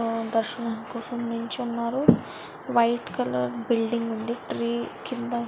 ఆహ్ దర్శనం కోసం నిల్చొని ఉన్నారు. వైట్ కలర్ బిల్డింగ్ ఉంది. ట్రీ కింద--